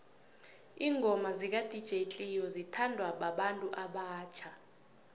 ingoma zaka dj cleo zithanwa babantu abatjha